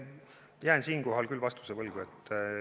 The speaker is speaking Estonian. Jään siinkohal küll vastuse võlgu.